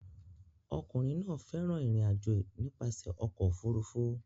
Ọkùnrin náà fẹ́ràn ìrìn-àjò nípasẹ̀ ọkọ̀ òfurufú